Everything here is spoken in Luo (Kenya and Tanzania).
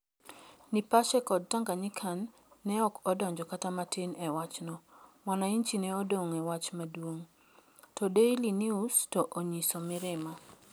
Nipashe kod Tanganyikan ne ok odonjo kata matin e wachno, Mwananchi ne odong ' e wach maduong ', to Daily News ne onyiso mirima.